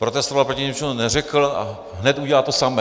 Protestoval proti něčemu, neřekl, a hned udělal to samé.